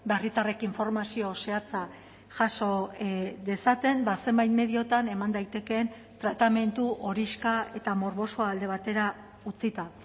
herritarrek informazio zehatza jaso dezaten zenbait mediotan eman daitekeen tratamendu horixka eta morbosoa alde batera utzita